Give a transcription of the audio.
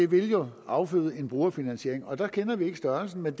vil det jo afføde en brugerfinansiering og der kender vi ikke størrelsen men